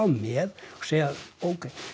með og segja ókei